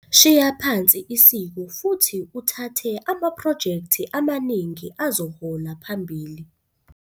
Shiya phansi isiko futhi uthathe amaphrojekthi amaningi azohola phambili.